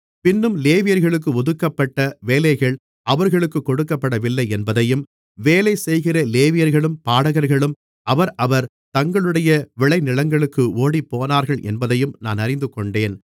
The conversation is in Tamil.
பின்னும் லேவியர்களுக்கு ஒதுக்கப்பட்ட வேலைகள் அவர்களுக்கு கொடுக்கப்படவில்லையென்பதையும் வேலை செய்கிற லேவியர்களும் பாடகர்களும் அவரவர் தங்களுடைய விளைநிலங்களுக்கு ஓடிப்போனார்கள் என்பதையும் நான் அறிந்துகொண்டேன்